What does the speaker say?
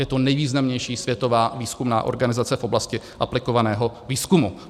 Je to nejvýznamnější světová výzkumná organizace v oblasti aplikovaného výzkumu.